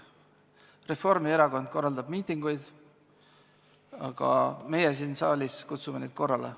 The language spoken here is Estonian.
Reformierakond korraldab miitinguid, meie siin saalis kutsume neid korrale.